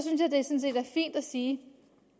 sige